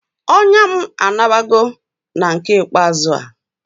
Onya m anabago na nke ikpeazu a